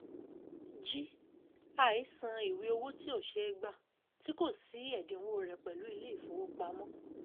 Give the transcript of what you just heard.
g àìísan ìwé owó tí ó ṣeé gbà tí kò sí ẹ̀dínwó rẹ̀ pẹ̀lú ilé ìfowópamọ́.